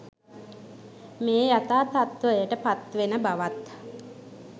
මෙය යථා තත්ත්වයට පත් වෙන බවත්